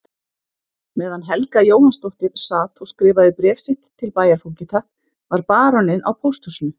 Meðan Helga Jóhannsdóttir sat og skrifaði bréf sitt til bæjarfógeta var baróninn á pósthúsinu.